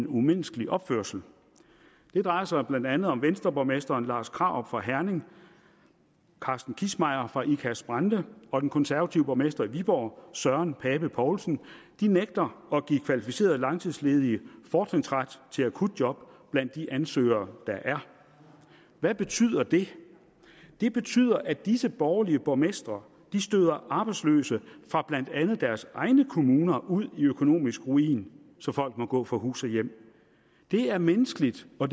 umenneskelig opførsel det drejer sig blandt andet om venstreborgmesteren lars krarup fra herning carsten kissmeyer fra ikast brande og den konservative borgmester i viborg søren pape poulsen de nægter at give kvalificerede langtidsledige fortrinsret til akutjob blandt de ansøgere der er hvad betyder det det betyder at disse borgerlige borgmestre støder arbejdsløse fra blandt andet deres egne kommuner ud i økonomisk ruin så folk må gå fra hus og hjem det er umenneskeligt og